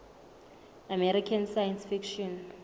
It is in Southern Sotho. american science fiction